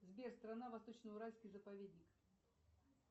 сбер страна восточно уральский заповедник